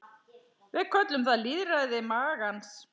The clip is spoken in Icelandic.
Við köllum það lýðræði magans.